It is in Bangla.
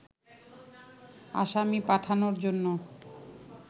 আসামি পাঠানোর জন্য